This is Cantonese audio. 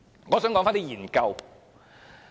我想說說一些研究。